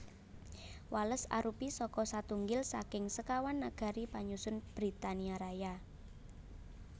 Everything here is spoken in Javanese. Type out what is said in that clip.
Wales arupi salah satunggil saking sekawan nagari panyusun Britania Raya